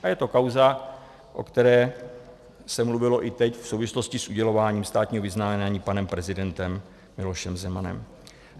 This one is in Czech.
A je to kauza, o které se mluvilo i teď v souvislosti s udělováním státního vyznamenání panem prezidentem Milošem Zemanem.